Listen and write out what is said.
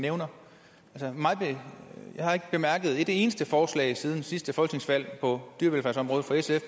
nævner jeg har ikke bemærket et eneste forslag siden sidste folketingsvalg på dyrevelfærdsområdet fra sf